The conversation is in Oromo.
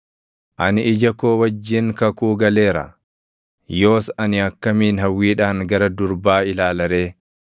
“Ani ija koo wajjin kakuu galeera; yoos ani akkamiin hawwiidhaan gara durbaa ilaala ree?